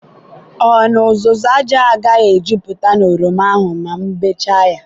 ọ na uzuzu aja agaghi ejuputa na oroma ahụ ma m bechaa ya?